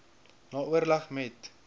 na oorleg met